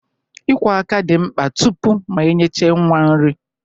Ị kwọ aka dị mkpa tupu ma enyechaa nwa nri